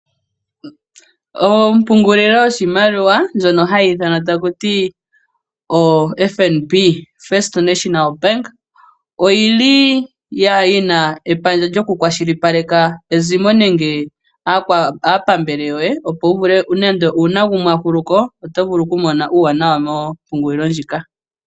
Ompungulilo yoshimaliwa ndjono hayi ithanwa takuti oFNB (First National Bank) oyili yina epandja lyo ku kwashilipaleka ezimo nenge aapambele yoye opo wuvule nenge uuna gumwe a hulu ko oto vulu okumona uuwanawa mo mpungulilo ndjika.